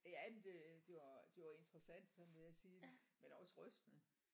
Ja men det det var interessant sådan vil jeg sige men også rystende